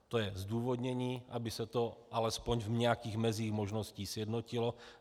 To je zdůvodnění, aby se to alespoň v nějakých mezích možností sjednotilo.